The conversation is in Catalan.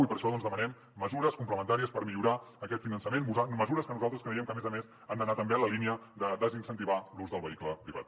i per això doncs demanem mesures complementàries per millorar aquest finançament mesures que nosaltres creiem que a més a més han d’anar també en la línia de desincentivar l’ús del vehicle privat